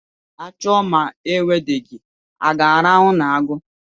A chụọ ma e nwudeghị, a ga-arahụ n'agu?